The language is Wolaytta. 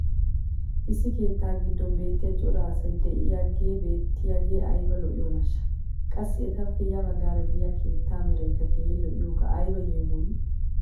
issi keettaa giddon beetiya cora asay diyaagee beetiyaagee ayba lo'iyoonaashsha! qassi etappe ya bagaara diya keettaa meraykka keehi lo'iyaagee ayba yeemoyii!